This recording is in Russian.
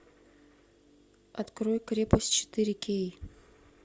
открой крепость четыре кей